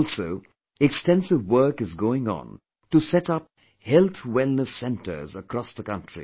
Also, extensive work is going on to set up Health Wellness Centres across the country